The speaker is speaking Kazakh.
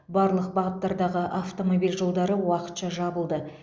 барлық бағыттардағы автомобиль жолдары уақытша жабылды